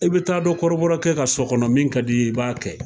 I bi taa don kɔrɔbɔrɔkɛ ka so kɔnɔ min ka di i ye i b'a kɛ.